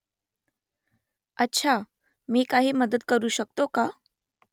अच्छा ? मी काही मदत करू शकते का ?